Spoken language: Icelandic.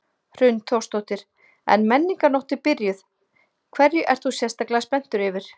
Hrund Þórsdóttir: En Menningarnótt er byrjuð, hverju ert þú sérstaklega spenntur yfir?